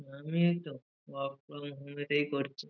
আমি এইতো work from home এটাই করছি।